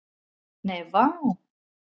Nei, vá.